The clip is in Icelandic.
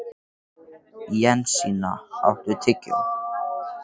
Jensína, áttu tyggjó?